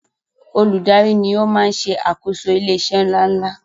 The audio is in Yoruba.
Olùdarí ni o maá n ṣe àkóso ilé iṣé ńláńlá